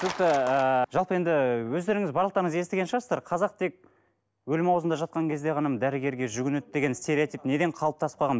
түсінікті ыыы жалпы енді өздеріңіз барлықтарыңыз естіген шығарсыздар қазақ тек өлім аузында жатқан кезде ғана дәрігерге жүгінеді деген стереотип неден қалыптасып қалған